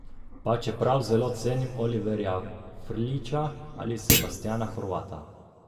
Pa čeprav zelo cenim Oliverja Frljića ali Sebastijana Horvata.